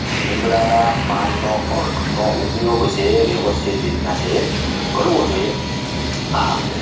લીમડાના પાનનો કર્ક નો ઉપયોગ છે એ વ્યવસ્થિત રીતના છે એ કરવો જોઈએ આમ